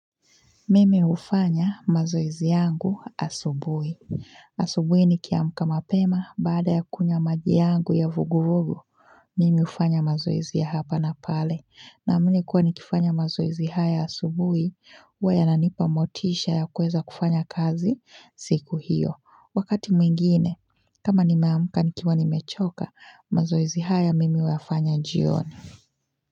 Mimi hufanya mazoezi yangu asubuhi. Asubuhi nikiamka mapema, baada ya kunywa maji yangu ya vuguvugu, mimi hufanya mazoezi ya hapa na pale. Naamini kuwa nikifanya mazoezi haya asubuhi, huwa yananipa motisha ya kuweza kufanya kazi siku hiyo. Wakati mwingine, kama nimeamka nikiwa nimechoka, mazoezi haya mimi huyafanya jioni.